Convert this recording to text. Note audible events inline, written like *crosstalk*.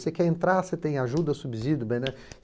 Você quer entrar, você tem ajuda, subsídio *unintelligible*